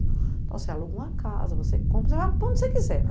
Então, você aluga uma casa, você compra, você vai para onde você quiser.